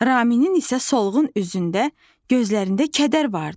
Raminin isə solğun üzündə, gözlərində kədər vardı.